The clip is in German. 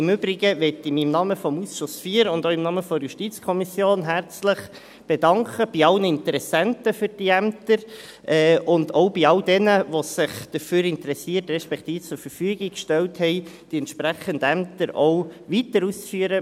Im Übrigen will ich mich im Namen des Ausschusses IV und auch im Namen der JuKo herzlich bedanken bei allen Interessenten für diese Ämter und auch bei all jenen, die sich dafür interessiert respektive zur Verfügung gestellt haben, die entsprechenden Ämter auch weiter auszuführen.